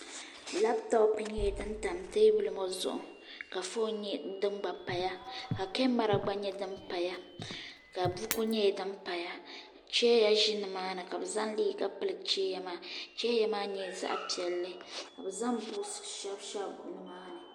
labtop nyɛla din tam teebuli ŋɔ zuɣu ka foon nyɛ din gba paya ka kamɛra gba nyɛ din paya ka buku nyɛ din paya chɛya ʒi nimaani ka bi zaŋ liiga pili chɛya maa chɛya maa nyɛla zaɣ piɛlli ka bi zaŋ buuks shɛbi nimaani